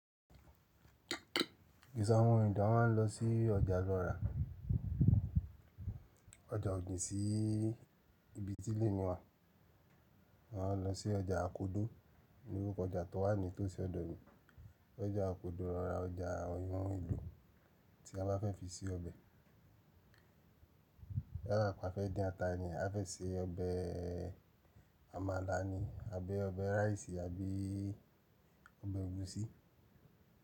Gẹ́gẹ́ bí i àwọn èdè a máà ń lọ sí ọjà lọ ra. Ọjà òjìn sí ibi tí ilé mi wà. A máa ń lọ sí ọjà àkódó, orúkọ ọjà tó wà ní tòsí ọ̀dọ̀ mi. Ọjà àkódó ra ọjà àwọn ohun èlò tí a bá fẹ́ fi se ọbẹ̀. Lára pẹ́ a fẹ́ dín ata ni, a fẹ́ se ọbẹ̀ amala ni àbí ọbẹ̀ rice àbí ọbẹ̀ egusi.